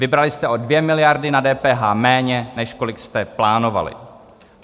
Vybrali jste o 2 miliardy na DPH méně, než kolik jste plánovali.